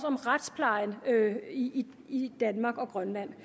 om retsplejen i danmark og grønland